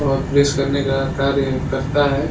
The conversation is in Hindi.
और प्रेस करने का कार्य करता है।